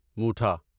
موٹھا